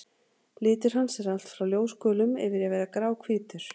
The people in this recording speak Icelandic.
Litur hans er allt frá ljósgulum yfir í að vera gráhvítur.